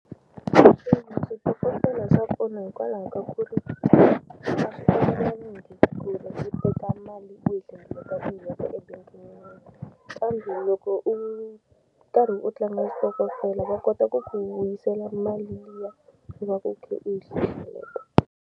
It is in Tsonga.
switokofela swa pfuna hikwalaho ka ku ri a swi ku va u teka mali u yi hlengeleta ebangini kambe loko u karhi u tlanga switokofela va kota ku ku vuyisela mali liya u va ku kha u yi .